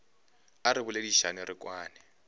a re boledišane re kwane